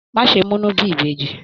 Má ṣe múnu bí ìbejì.